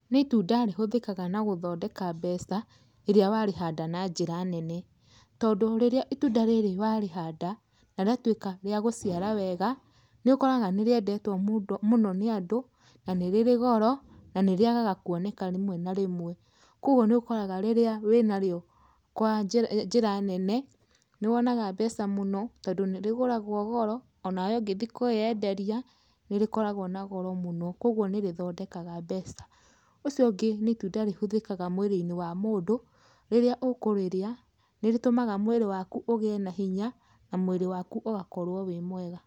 Nĩ itunda rĩhũthĩkaga na gũthondeka mbeca rĩrĩa warĩhanda na njĩra nene, tondũ rĩrĩa itunda rĩrĩ warĩhanda, na rĩatuika rĩa gũciara wega, nĩ ũkoraga nĩrĩendetwo mũno nĩ andũ na nĩ rĩrĩ goro, na nĩrĩagaga kuoneka rĩmwe na rĩmwe. Kwogwo nĩ ũkoraga rĩrĩa wĩnarĩo kwa njĩra nene nĩ wonaga mbeca mũno tondu nĩrĩgũragwo goro, onawe ũngĩthiĩ kwĩyenderia nĩrĩkoragwo na goro mũno, kwogwo nĩrĩthondekaga mbeca. Ũcio ũngĩ nĩ itunda rĩhũthĩkaga mwĩrĩ-inĩ wa mũndũ, rĩrĩa ũkũrĩrĩa, nĩrĩtũmaga mwĩrĩ waku ũgĩe na hinya na mwĩrĩ waku ũgakorwo wĩ mwega.